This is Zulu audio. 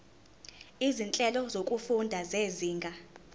izinhlelo zokufunda zezinga